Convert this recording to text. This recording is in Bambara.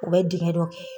U bɛ dingɛ dɔ kɛ